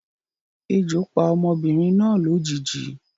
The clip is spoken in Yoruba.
Ejo pa obinrin na lojiji